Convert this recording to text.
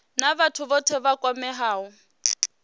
na vhathu vhothe vha kwameaho